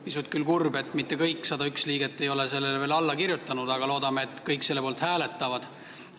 Pisut küll kurb, et mitte kõik 101 liiget ei ole sellele veel alla kirjutanud, aga loodame, et kõik selle poolt hääletavad.